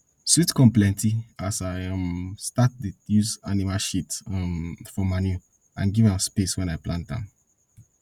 sweet corn plenty as i um start dey use animal sheat um for manure and give am space when i plant am